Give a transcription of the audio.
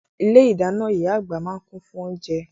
Ilé-ìdáná ìyá àgbà máa ń kún fún oúnjẹ.